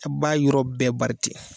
A' b'a yɔrɔ bɛɛ bari ten.